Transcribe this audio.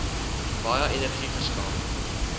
baie energie verskaf